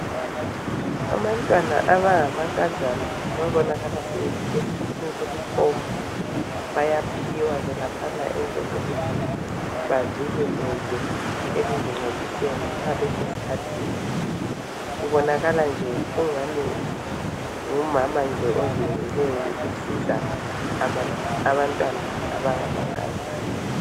abantwana abangamankazana ababonakala sebefike esikhathini sokuthomba bayaphiwa ke laphana into zokuthi bavikeleke ekuzingcoliseni ma besesikhathini kubonakala nje kungani ngumama nje ozinikeleyo ukusiza abantwana abangama nkazana